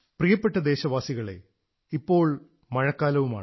പ്രിയപ്പെട്ട ദേശവാസികളേ ഇപ്പോൾ മഴക്കാലവുമാണ്